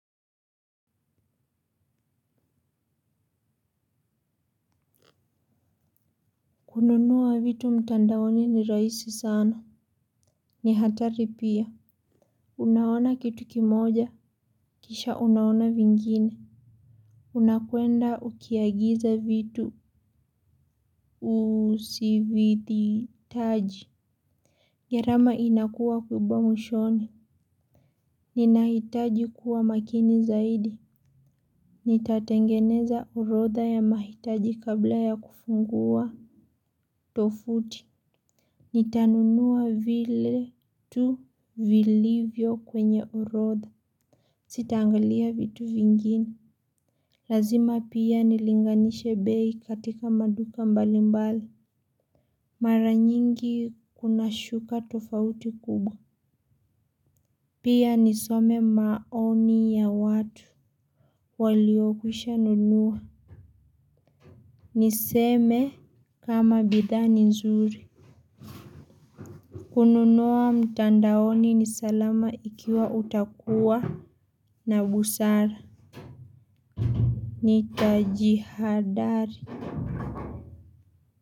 Kununua vitu mtandaoni ni rahisi sana. Ni hatari pia. Unaona kitu kimoja. Kisha unaona vingine. Unakwenda ukiagiza vitu. Usivyohitaji, gharama inakuwa kubwa mwishoni. Ninahitaji kuwa makini zaidi. Nitatengeneza orodha ya mahitaji kabla ya kufungua. Tovuti. Nitanunua vile tu vilivyo kwenye orodha Sitaangalia vitu vingine. Lazima pia nilinganishe bei katika maduka mbalimbali. Mara nyingi kunashuka tofauti kubwa. Pia nisome maoni ya watu waliokwisha nunua. Niseme kama bidhaa ni nzuri. Kununua mtandaoni ni salama ikiwa utakuwa na busara. Nitajihadhari.